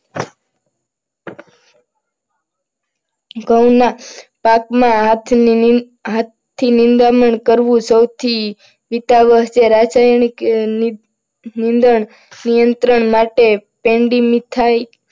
ઘઉંના પાકમાં હાથની હાથથી નિંદામણ કરવું. રાસાયણિક નિંદણ નિયંત્રણ માટે